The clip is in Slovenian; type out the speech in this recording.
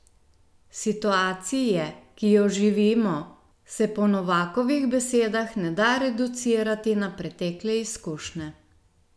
Situacije, ki jo živimo, se po Novakovih besedah ne da reducirati na pretekle izkušnje.